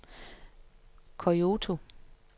Kyoto